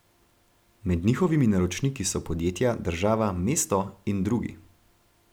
Med njihovimi naročniki so podjetja, država, mesto in drugi.